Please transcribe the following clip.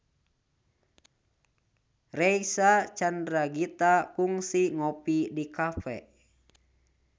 Reysa Chandragitta kungsi ngopi di cafe